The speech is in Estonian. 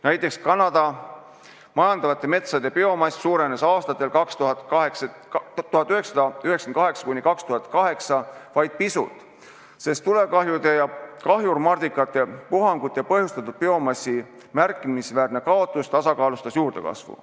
Näiteks Kanada majandatavate metsade biomass suurenes aastatel 1998–2008 vaid pisut, sest tulekahjude ja kahjurmardikate puhangute põhjustatud biomassi märkimisväärne kaotus tasakaalustas juurdekasvu.